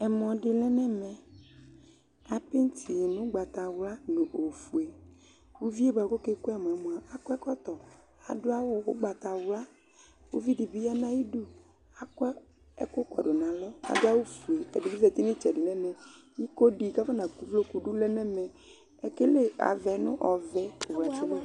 Ɛmɔ di lɛ nʊ ɛmɛ apɛtii nʊ ʊgbatawla nʊ ofoe Ʊvie bakʊ ɔkekʊ ɛmɔɛ mʊa akɔ ɛkɔtɔ, adʊ awʊ ʊgbatawla Ʊvidi bɩ ya nʊ ayidʊ akɔ ɛkʊkɔdʊ nʊ alɔ adʊ awʊfoe Ɛdi bɩ zeti nʊ ɩtsɛdi nʊ ɛmɛ Iko dɩ kʊ afɔnakʊ ʊvlokʊ dʊ lɛ nʊ ɛmɛ, ekele avɛ́ nʊ ovɛ̀